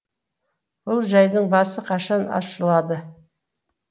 бұл жайдың басы қашан ашылады